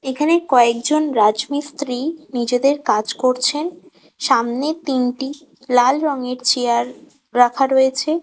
এখানে কয়েকজন রাজমিস্ত্রি নিজেদের কাজ করছেন সামনের তিনটি লাল রঙের চেয়ার রাখা রয়েছে।